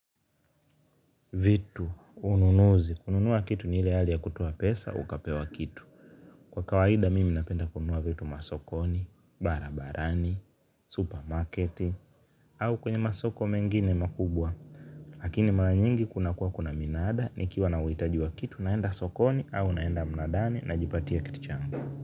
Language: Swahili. Vitu ununuzi kununua kitu ni ile hali ya kutoa pesa ukapewa kitu kwa kawaida mimi napenda kununua vitu masokoni barabarani supermarket au masoko mengine makubwa lakini mara nyingi kuna kuwa kuna minaada, nikiwa nauhitaji wa kitu naenda sokoni, au naenda mnadani, na jipatia kitu changu.